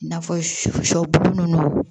I n'a fɔ sɔ bulu nunnu